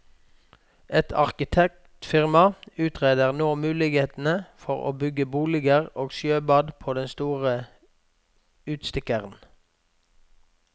Et arkitektfirma utreder nå mulighetene for å bygge boliger og sjøbad på den store utstikkeren.